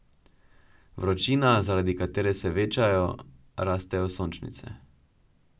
Vročina, zaradi katere se večajo, rastejo sončnice.